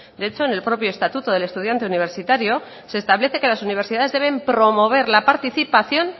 de hecho en el propio estatuto del estudiante universitario se establece que las universidades deben promover la participación